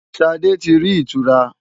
Ṣadé ti rí ìtura.